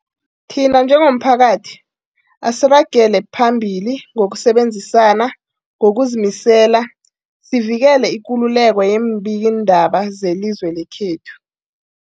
Thina njengomphakathi, asiragele phambili ngokusebenzisana ngokuzimisela sivikele ikululeko yeembikiindaba zelizwe lekhethu.